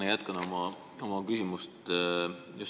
Ma jätkan oma enne esitatud küsimust.